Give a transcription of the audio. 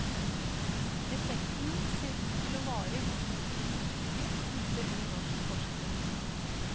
Effekten ser ut til å vare i to til fire uker, viser ny norsk forskning.